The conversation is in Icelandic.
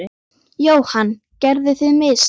Jóhann: Gerðuð þið mistök?